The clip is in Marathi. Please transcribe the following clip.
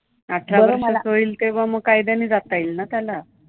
अठरा वर्षाचा होईल तेव्हा मग कायद्याने जाता येईल ना त्याला.